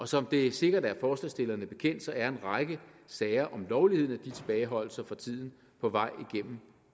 som det sikkert er forslagsstillerne bekendt er en række sager om lovligheden af de tilbageholdelser for tiden på vej igennem